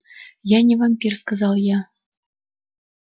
я не вампир сказал я